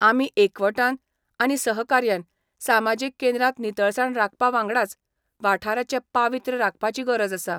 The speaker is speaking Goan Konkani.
आमी एकवटान आनी सहकार्यान सामाजीक केंद्रांत नितळसाण राखपा वांगडाच वाठाराचे पावित्र्य राखपाची गरज आसा.